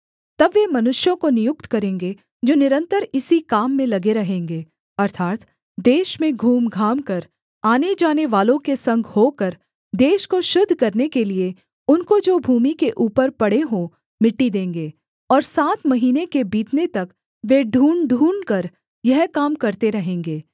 तब वे मनुष्यों को नियुक्त करेंगे जो निरन्तर इसी काम में लगे रहेंगे अर्थात् देश में घूमघामकर आने जानेवालों के संग होकर देश को शुद्ध करने के लिये उनको जो भूमि के ऊपर पड़े हों मिट्टी देंगे और सात महीने के बीतने तक वे ढूँढ़ ढूँढ़कर यह काम करते रहेंगे